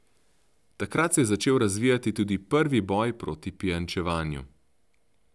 Takrat se je začel razvijati tudi prvi boj proti pijančevanju.